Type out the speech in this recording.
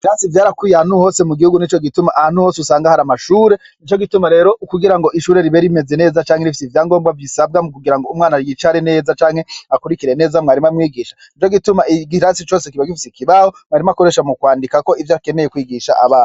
Ikarasi ryarakwiye ahantu hose mugihugu nico gituma ahantu hose usanga hari amashure nico gituma rero kugira ngo ishure ribe rimeze neza canke rifise ivyagombwa bisaba mukugira ngo umwana y'icare neza canke akurikire neza mwarimu amwigishe nico gituma ikarasi yose iba ifise ikibaho mwarimu akoresha mukwandikako ivyo akeneye kwigisha abana.